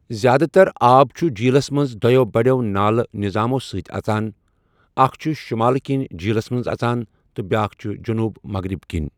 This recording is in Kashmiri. زیادٕ تر آب چھُ جیٖلس منٛز دۄیو بٔڑٮ۪و نالہٕ نظامَو سۭتۍ اژان، اکھ چھِ شمال کِنۍ جیٖلس منٛز اژان تہٕ بیاکھ چھِ جنوب مغرب کِنۍ۔